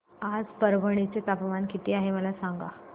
आज परभणी चे तापमान किती आहे मला सांगा